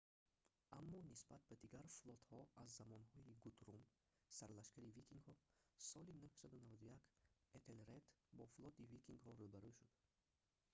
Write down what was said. аммо нисбат ба дигар флотҳо аз замонҳои гутрум сарлашкари викингҳо соли 991 этелред бо флоти викингҳо рӯ ба рӯ шуд